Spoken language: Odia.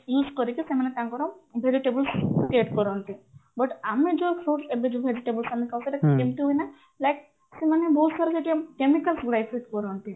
କରିକି ସେମାନେ ତାଙ୍କର vegetables get କରନ୍ତି but ଆମେ ଯୋଉ fruits ଏବେ ଯୋଉ vegetables ଆମେ ଖାଉଛୁ ସେଇଟା କେମିତି ହୁଏ ନା like ସେମାନେ ବହୁତ ସାରା chemicals ଗୁଡାଏ କରନ୍ତି